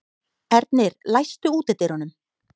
Ernir, læstu útidyrunum.